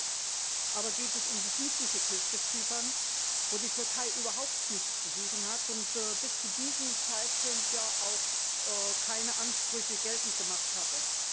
Diesmal aber geht es um die südliche Küste Zyperns, wo die Türkei überhaupt nichts zu suchen hat und bis zu diesem Zeitpunkt ja auch keine Ansprüche geltend gemacht hatte.